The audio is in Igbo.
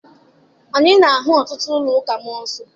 Anyị na-ahụ ọtụtụ ụlọ ụka mmụọ nsọ.